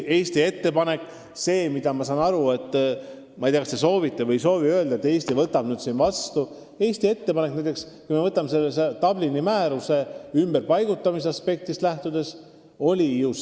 Eesti ettepanek ümberpaigutamise kohta, mis lähtub Dublini määrusest, oli ju see, et liikmesriik peab olema nõus inimesi vastu võtma.